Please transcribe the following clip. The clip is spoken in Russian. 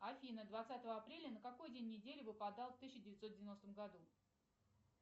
афина двадцатого апреля на какой день недели выпадал в тысяча девятьсот девяностом году